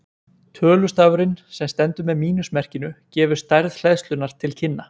Tölustafurinn sem stendur með mínus merkinu gefur stærð hleðslunnar til kynna.